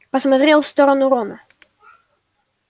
посмотрел в сторону рона